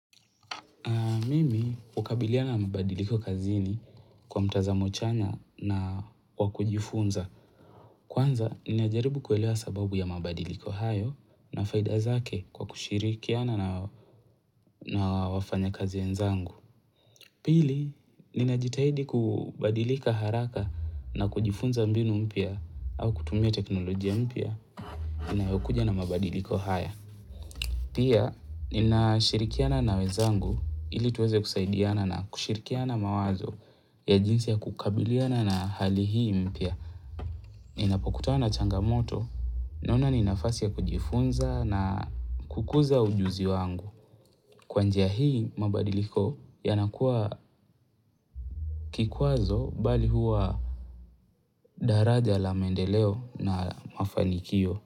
Mimi ukabiliana mabadiliko kazini kwa mtazamo chanya na kwa kujifunza. Kwanza, ninajaribu kuelewa sababu ya mabadiliko hayo na faida zake kwa kushirikiana na wafanyakazi wenzangu. Pili, ninajitahidi kubadilika haraka na kujifunza mbinu mpya au kutumia teknolojia mpya inayokuja na mabadiliko haya. Pia, ninashirikiana na wenzangu ili tuweze kusaidiana na kushirikiana mawazo ya jinsi ya kukabiliana na hali hii mpya. Ninapokutana na changamoto, naona ni nafasi ya kujifunza na kukuza ujuzi wangu. Kwa njia hii mabadiliko yanakuwa kikwazo bali huwa daraja la maendeleo na mafanikio.